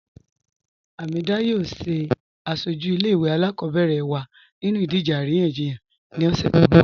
Hamedah yọọ sẹ asọju ilẹ̀-ìwé alákọbẹ̀rẹ̀ wa nínú idìje aríyànjíyàn ni ọṣẹ̀ ti n bọ̀.